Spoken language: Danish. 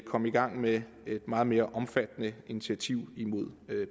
komme i gang med et meget mere omfattende initiativ imod